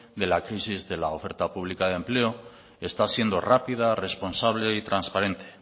de la crisis de la oferta pública de empleo está siendo rápida responsable y transparente